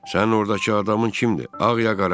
Sənin oradakı adamın kimdir, ağ, ya qara?